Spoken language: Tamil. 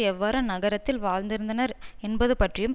எவ்வாறு அந்நகரத்தில் வாழ்ந்திருந்தனர் என்பது பற்றியும்